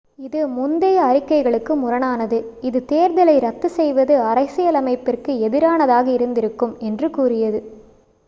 இது முந்தைய அறிக்கைகளுக்கு முரணானது இது தேர்தலை ரத்து செய்வது அரசியலமைப்பிற்கு எதிரானதாக இருந்திருக்கும் என்று கூறியது